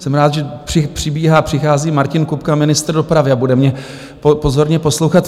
Jsem rád, že přibíhá, přichází Martin Kupka, ministr dopravy, a bude mě pozorně poslouchat.